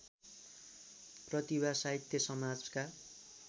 प्रतिभा साहित्य समाजका